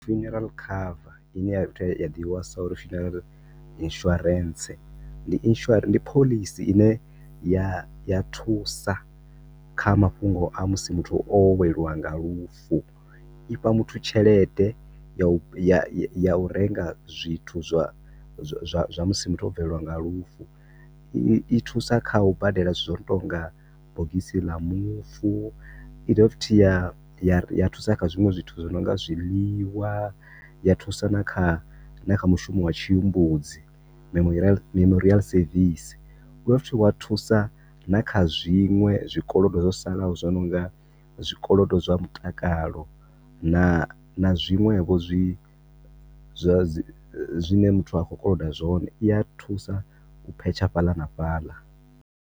Funeral cover ine ya ḓivhiwa sa uri funeral insurance, ndi insura, ndi phoḽisi ine ya ya thusa kha mafhungo a musi muthu o weliwa nga lufu. Ifha muthu tshelede ya ya u renga zwithu zwa zwa zwa musi muthu o bvelwa nga lufu. I thusa kha u badela zwithu zwo no to nga bogisi la mufu, i dovha futhi ya thusa kha zwinwe zwithu zwi no nga zwiḽiwa, ya thusa na kha, na kha mushumo wa tshihumbudzi memorial memorial service, wa futhi wa thusa na kha zwinwe zwikolodo zwo salaho zwo nonga zwikolodo zwa mutakalo, na zwinwe vho zwi zwa dzi, zwine muthu a khou koloda zwone, i ya thusa u phetsha fhaḽa na fhaḽa.